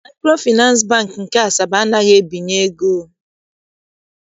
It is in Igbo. Maịkrofịnansị Bankị nke Asaba anaghịzi ebinye ego